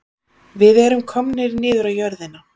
Við erum komnir niður á jörðina